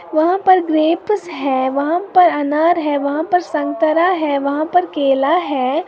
वहां पर ग्रेप है वहां पर अनार हैं वहां पर संतरा हैं वहां पर केला हैं।